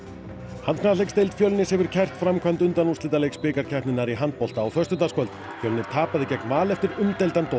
handknattleiksdeild Fjölnis hefur kært framkvæmd undanúrslitaleiks bikarkeppninnar í handbolta á föstudagskvöld Fjölnir tapaði gegn Val eftir umdeildan dóm